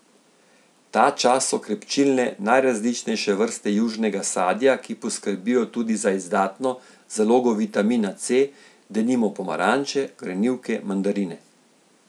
Ta čas so krepčilne najrazličnejše vrste južnega sadja, ki poskrbijo tudi za izdatno zalogo vitamina C, denimo pomaranče, grenivke, mandarine.